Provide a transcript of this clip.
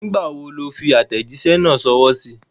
Nígbà wo ló fi àtẹ̀jísẹ́ náà sọwọ́ síí?